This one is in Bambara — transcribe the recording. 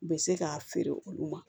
U bɛ se k'a feere olu ma